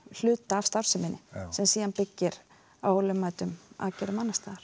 hluta af starfseminni sem byggir á ólögmætum aðgerðum